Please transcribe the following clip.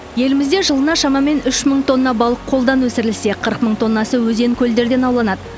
елімізде жылына шамамен үш мың тонна балық қолдан өсірілсе қырық мың тоннасы өзен көлдерден ауланады